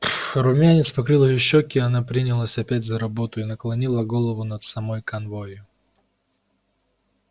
румянец покрыл её щеки она принялась опять за работу и наклонила голову над самой канвою